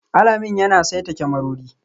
Alamin yana saita kyamarori